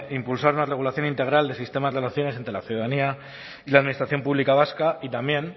impulsar una regulación integral del sistema de relaciones entre la ciudadanía y la administración pública vasca y también